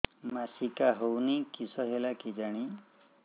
ମାସିକା ହଉନି କିଶ ହେଲା କେଜାଣି